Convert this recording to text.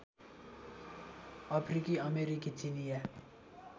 अफ्रिकी अमेरिकी चिनियाँ